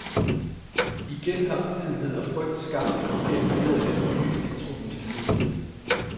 Igen har uvidenhed og frygt skabt et forkert billede af de nye elektroniske medier.